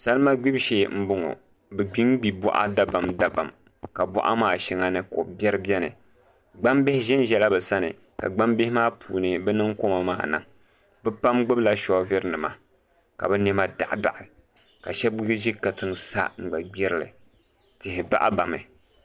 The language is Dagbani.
Salima gbubi shee n boŋo bi gbinbi boɣa dabam dabam ka boɣa maa shɛŋa ni kobiɛri biɛni gbambihi ʒɛnʒɛla bi sani ka gbambihi maa puuni bi niŋ korma maa niŋ bi pam gbubila soovuli nima ka bi niɛma daɣa daɣa ka shab bi ʒi katiŋ sa ni bi gbirili tihi bahabami